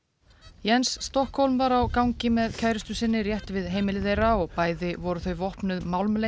Jens Stokholm var á gangi með kærustu sinni rétt við heimili þeirra og bæði voru þau vopnuð